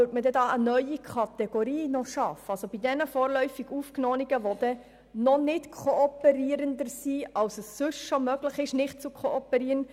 Würde damit eine neue Kategorie geschaffen für jene vorläufig Aufgenommenen, welche nicht stärker kooperieren, als es ohnehin überhaupt möglich ist?